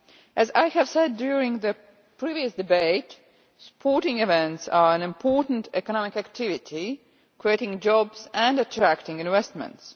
As I said during the previous debate, sporting events are an important economic activity, creating jobs and attracting investments.